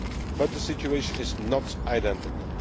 done. But the situation is not identical.